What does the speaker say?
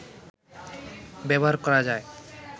ব্যবহার করা যায়